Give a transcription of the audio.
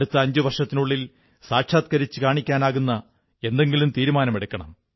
അടുത്ത അഞ്ചു വർഷത്തിനുള്ളിൽ സാക്ഷാത്കരിച്ചു കാണിക്കാനാകുന്ന എന്തെങ്കിലും തീരുമാനമെടുക്കണം